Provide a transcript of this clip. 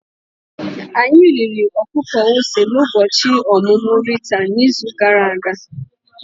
Anyị riri ọkụkọ ose n'ụbọchị ọmụmụ Rita n'izu gara aga.